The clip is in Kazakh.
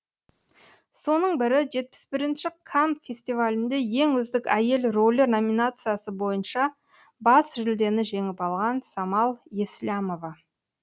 соның бірі жетпіс бірінінші канн кинофестивалінде ең үздік әйел рөлі номинациясы бойынша бас жүлдені жеңіп алған самал еслямова